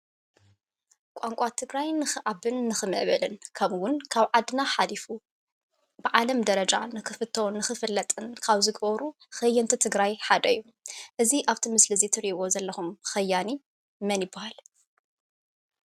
ቋንቋ ትግራይ ንክዓብን ንክምዕብልን ካብኡ እውን ካብ ዓድና ሓሊፉ ብዓለም ደረጃ ንክፍቶን ንክፍለጥን ካብ ዝገብሩ ከየንቲ ትግራይ ሓደ እዩ፡፡ እዚ ኣብ እቲ ምስሊ እትሪእዎም ዘለኩም ከያኒ መን ይባሃል?